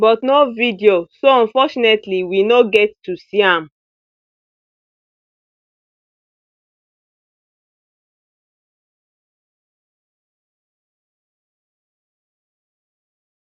but no video so unfortunately we no get to see am